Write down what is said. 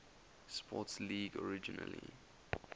sports league originally